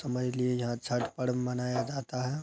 समझ लिए यहाँ छठ पर्व मनाया जाता है।